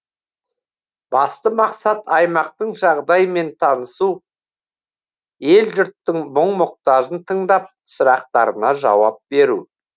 басты мақсат аймақтың жағдаймен танысу ел жұрттың мұң мұқтажын тыңдап сұрақтарына жауап беру